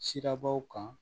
Sirabaw kan